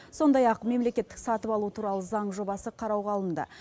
сондай ақ мемлекеттік сатып алу туралы заң жобасы қарауға алынды